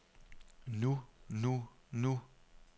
nu nu nu